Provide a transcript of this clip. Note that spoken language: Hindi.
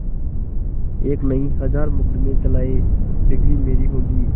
एक नहीं हजार मुकदमें चलाएं डिगरी मेरी होगी